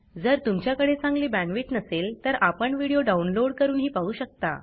जर तुमच्याकडे चांगली बॅण्डविड्थ नसेल तर आपण व्हिडिओ डाउनलोड करूनही पाहू शकता